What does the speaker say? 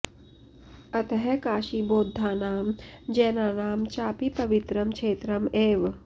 अतः काशी बौद्धानां जैनानां चापि पवित्रं क्षेत्रम् एव